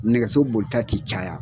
Nɛgɛso bolita ti caya